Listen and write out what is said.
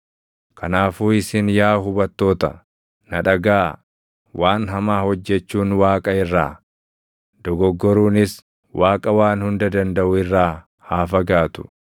“Kanaafuu isin yaa hubattoota, na dhagaʼaa. Waan hamaa hojjechuun Waaqa irraa, dogoggoruunis Waaqa Waan Hunda Dandaʼu irraa haa fagaatu.